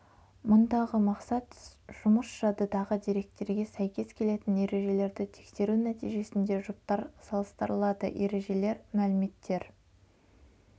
мұндағы мақсат жұмыс жадыдағы деректерге сәйкес келетін ережелерді тексеру нәтижесінде жұптар салыстырылады ережелер мәліметтер